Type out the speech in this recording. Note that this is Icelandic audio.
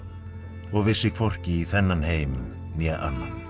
og vissi hvorki í þennan heim né annan